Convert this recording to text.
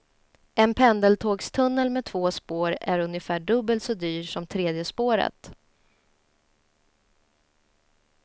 En pendeltågstunnel med två spår är ungefär dubbelt så dyr som tredje spåret.